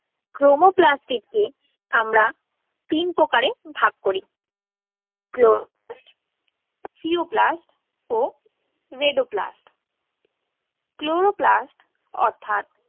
Chromoplasts কে আমরা তিন প্রকারে ভাগ করি। Chloroplasts অর্থাৎ